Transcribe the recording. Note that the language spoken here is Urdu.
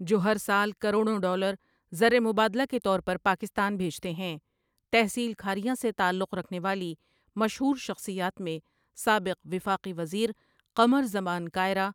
جو ہر سال کڑوڑں ڈالر زرمبادلہ کے طور پر پاکستان بھیجتے ہیں تحصیل کھاریاں سے تعلق رکھنے والی مشہور شخصیات میں سابق وفاقی وزیر قمر زمان کائرہ،